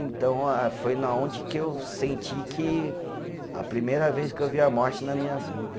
Então a, foi na onde que eu senti que a primeira vez que eu vi a morte na minha vida.